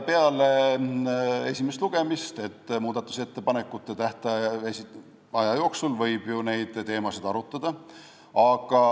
Peale esimest lugemist võib muudatusettepanekute esitamiseks ettenähtud aja jooksul ju neid teemasid arutada.